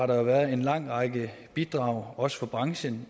der været en lang række bidrag også fra branchen